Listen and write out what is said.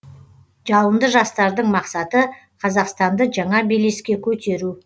жалынды жастардың мақсаты қазақстанды жаңа белеске көтеру